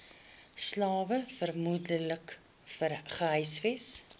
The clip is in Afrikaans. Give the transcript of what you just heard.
slawe vermoedelik gehuisves